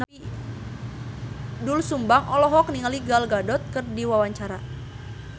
Doel Sumbang olohok ningali Gal Gadot keur diwawancara